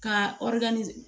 Ka